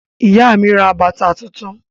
Ìyá mi ra bàtà tuntun.